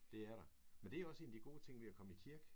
Det er der. Men det er jo også en af de gode ting ved at komme i kirke